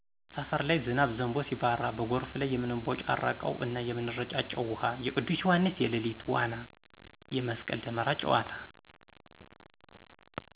ሰፈር ላይ ዝናብ ዘንቦ ሲባራ በጎርፉ ላይ የምንቦጫረቀው እና የምንረጫጨው ውሀ፣ የቅዱስ ዮሐንስ የሌሊት ዋና፣ የመስቀል ደመራ ጨዋታ....